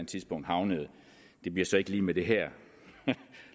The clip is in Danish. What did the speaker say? tidspunkt havnede det bliver så ikke lige med det her